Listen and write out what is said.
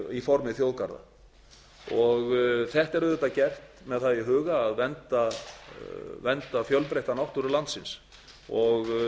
í formi þjóðgarða þetta er auðvitað gert með það í huga að vernda fjölbreytta náttúru landsins og